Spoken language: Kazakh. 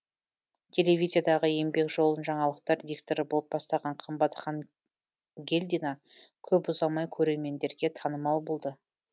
телевизияда еңбек жолын жаңалықтар дикторы болып бастаған қымбатхан гелдина көп ұзамай көремендерге танымал болды